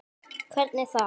Hvernig þá?